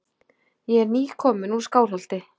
Ég er nýkominn úr Skálholti.